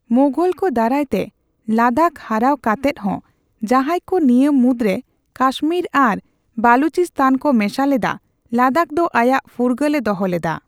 ᱢᱳᱜᱷᱚᱞ ᱠᱚ ᱫᱟᱨᱟᱭ ᱛᱮ ᱞᱟᱫᱟᱠᱷ ᱦᱟᱨᱟᱣ ᱠᱟᱛᱮᱫ ᱦᱚᱸ, ᱡᱟᱦᱟᱸᱭ ᱠᱚ ᱱᱤᱭᱟᱹ ᱢᱩᱫᱽ ᱨᱮ ᱠᱟᱥᱢᱤᱨ ᱟᱨ ᱵᱟᱞᱴᱤᱥᱛᱷᱟᱱ ᱠᱚ ᱢᱮᱥᱟ ᱞᱮᱫᱟ, ᱞᱟᱫᱟᱠᱷ ᱫᱚ ᱟᱭᱟᱜ ᱯᱷᱩᱨᱜᱟᱹᱞ ᱮ ᱫᱚᱦᱚ ᱞᱮᱫᱟ ᱾